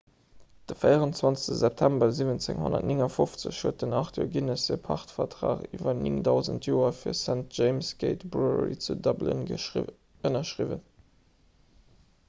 de 24 september 1759 huet den arthur guinness e pachtvertrag iwwer 9 000 joer fir d'st james' gate brewery zu dublin ënnerschriwwen